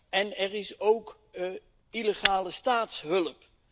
En er is ook illegale staatshulp.